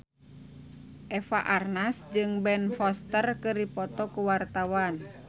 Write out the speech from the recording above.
Eva Arnaz jeung Ben Foster keur dipoto ku wartawan